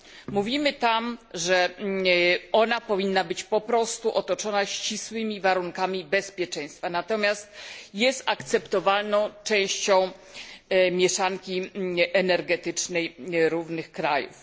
Mówimy tam, że ona powinna być po prostu otoczona ścisłymi warunkami bezpieczeństwa. Natomiast jest akceptowalną częścią mieszanki energetycznej różnych krajów.